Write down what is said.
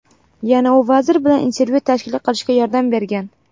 Yana u vazir bilan intervyu tashkil qilishga yordam bergan.